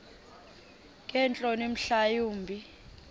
ngeentloni mhla wumbi